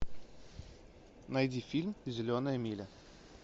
найди фильм зеленая миля